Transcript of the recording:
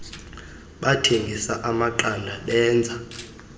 bathengisa amaqanda benza